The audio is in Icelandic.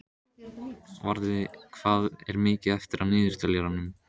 Varða, hvað er mikið eftir af niðurteljaranum?